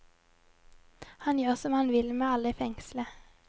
Han gjør som han vil med alle i fengselet.